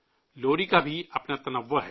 لوری کی بھی اپنی رنگا رنگی ہے